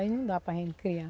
Aí não dá para a gente criar.